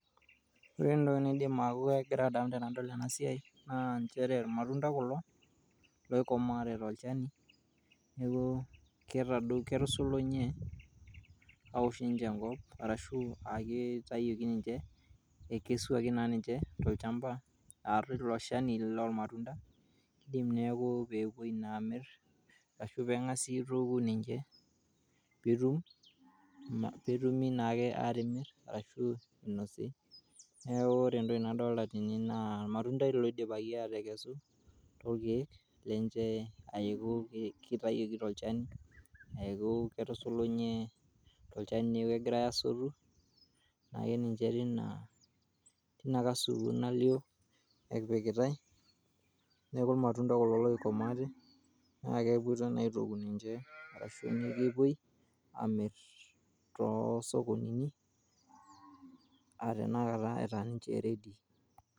ore entoki naidim ataa kegira aasa naa nchere irmatunda kulo loikomaante tolchani neku ketado, ketusulunye aosh ninche enkop arashu kitayioki ninche . Eikesuaki naa ninche tolchamba na tilo shani lormatunda , indim neaku peepuo amir ninche ashu pengas aituku ninche naake atimir ashu inosi . Niaku ore entoki nadolta tene naa ormatunda loidipaki toorkiek lenche